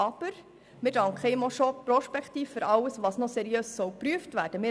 Aber wir danken ihm auch bereits prospektiv für alles, was noch seriös geprüft werden soll.